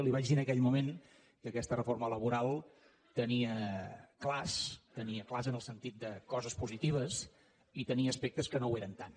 li vaig dir en aquell moment que aquesta reforma laboral tenia clars tenia clars en el sentit de coses positives i tenia aspectes que no ho eren tant